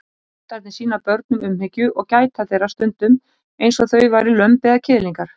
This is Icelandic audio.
Hundarnir sýna börnum umhyggju og gæta þeirra stundum eins og þau væru lömb eða kiðlingar.